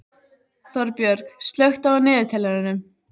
Þorbjörg, slökktu á niðurteljaranum.